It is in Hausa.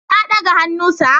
Na daga hannu Sir